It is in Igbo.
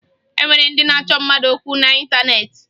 E nwere ndị na-achọ mmadụ okwu n'ịntaneetị